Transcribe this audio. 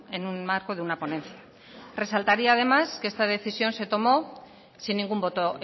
en un marco de una ponencia resaltaría además que esta decisión se tomó sin ningún voto